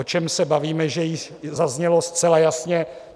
O čem se bavíme, to již zaznělo zcela jasně.